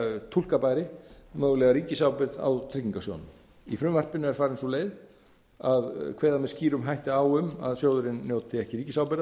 túlka bæri mögulega ríkisábyrgð á tryggingarsjóðnum í frumvarpinu er farin sú leið að kveða með skýrum hætti á um að sjóðurinn njóti ekki